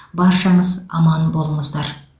баршаңыз аман болыңыздар